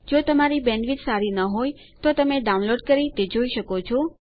જો તમારી બેન્ડવિડ્થ સારી ન હોય તો તમે ડાઉનલોડ કરી તે જોઈ શકો છો